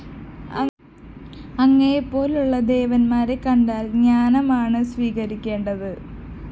അങ്ങയെപ്പോലുള്ള ദേവന്മാരെ കണ്ടാല്‍ ജ്ഞാനമാണ് സ്വീകരിക്കേണ്ടത്